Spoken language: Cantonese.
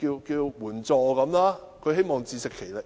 援助，希望能自食其力。